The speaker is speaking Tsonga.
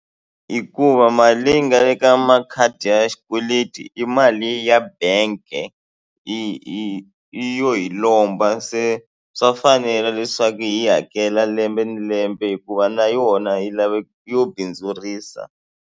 Hikuva mali leyi nga le ka makhadi ya xikweleti i mali ya bank-e i i yi yo hi lomba se swa fanela leswaku hi hakela lembe na lembe hikuva na yona hi lave yo bindzurisa.